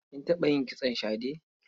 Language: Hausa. Kin taɓa yin kitson shade?